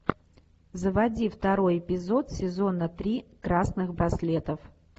заводи второй эпизод сезона три красных браслетов